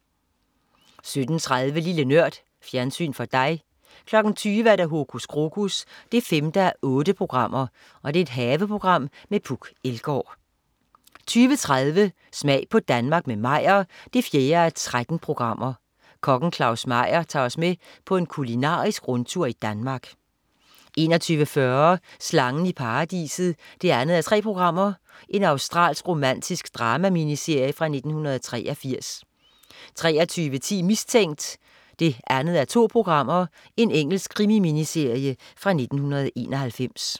17.30 Lille Nørd. Fjernsyn for dig 20.00 Hokus Krokus 5:8. Haveprogram med Puk Elgård 20.30 Smag på Danmark med Meyer 4:13. Kokken Claus Meyer tager os med på en kulinarisk rundtur i Danmark 21.40 Slangen i Paradiset 2:3. Australsk romantisk drama-miniserie fra 1983 23.10 Mistænkt 2:2. Engelsk krimi-miniserie fra 1991